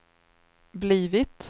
blivit